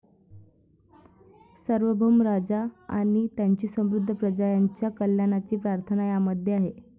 सार्वभौम राजा आणि त्याची समृद्ध प्रजा यांच्या कल्याणाची प्रार्थना यामध्ये आहे.